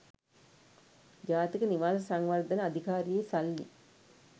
ජාතික නිවාස සංවර්ධන අධිකාරියේ සල්ලි